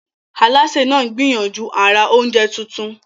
Alásè náà ń gbìyànjú àrà oúnjẹ tuntun.